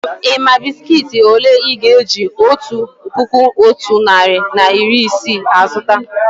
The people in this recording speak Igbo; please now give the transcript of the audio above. Ị́ mà bị́sikití òlé Ị́ ga-eji otu puku otu narị na iri isii azụta?